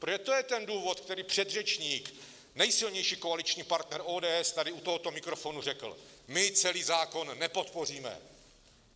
Protože to je ten důvod, který předřečník, nejsilnější koaliční partner ODS, tady u tohoto mikrofonu řekl - my celý zákon nepodpoříme.